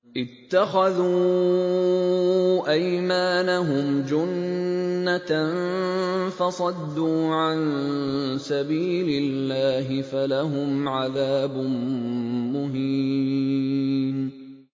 اتَّخَذُوا أَيْمَانَهُمْ جُنَّةً فَصَدُّوا عَن سَبِيلِ اللَّهِ فَلَهُمْ عَذَابٌ مُّهِينٌ